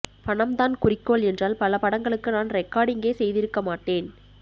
பணம்தான் குறிக்கோள் என்றால் பல படங்களுக்கு நான் ரெக்கார்டிங்கே செய்திருக்க மாட்டேன்